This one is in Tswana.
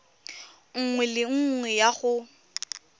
nngwe le nngwe ya go